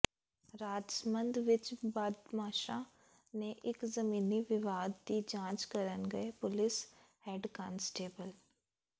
ਰਾਜਸਮੰਦ ਵਿੱਚ ਬਦਮਾਸ਼ਾਂ ਨੇ ਇੱਕ ਜ਼ਮੀਨੀ ਵਿਵਾਦ ਦੀ ਜਾਂਚ ਕਰਨ ਗਏ ਪੁਲਿਸ ਹੈਡ ਕਾਂਸਟੇਬਲ